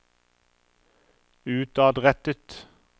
utadrettet